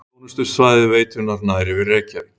Þjónustusvæði veitunnar nær yfir Reykjavík